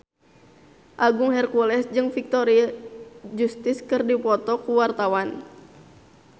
Agung Hercules jeung Victoria Justice keur dipoto ku wartawan